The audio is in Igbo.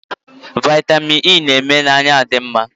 Vitamini Ei na-eme anya adi mma